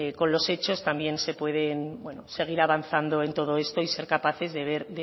con los hechos también se puede seguir avanzando en todo esto y ser capaces de ver